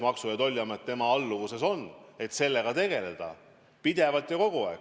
Maksu- ja Tolliamet on tema alluvuses ja selle tööga tuleb tegeleda pidevalt, kogu aeg.